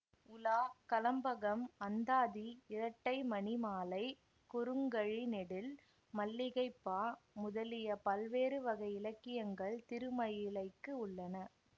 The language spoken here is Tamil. உலா கலம்பகம் அந்தாதி இரட்டை மணி மாலை குறுங்கழி நெடில் மல்லிகைப் பா முதலிய பல்வேறு வகை இலக்கியங்கள் திருமயிலைக்கு உள்ளன